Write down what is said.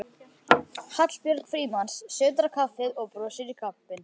Hallbjörg Frímanns sötrar kaffið og brosir í kampinn.